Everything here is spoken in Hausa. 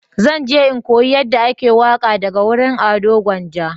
Zan je in koya yanda ake waƙa daga wurin Ado gwanja